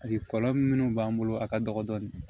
kɔlɔlɔ minnu b'an bolo a ka dɔgɔn dɔɔni